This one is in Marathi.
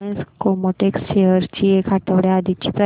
रिलायन्स केमोटेक्स शेअर्स ची एक आठवड्या आधीची प्राइस